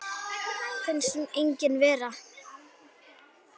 Finnst hún engin vera.